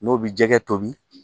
N'o bi jɛgɛ tobi